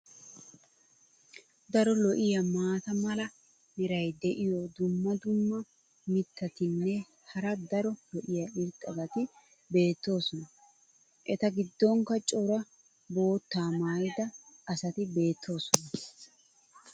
Daro lo'iya maata mala meray diyo dumma dumma mitatinne hara daro lo'iya irxxabati beetoosona. eta gidonkka cora boottaa maayida asati beetoosona.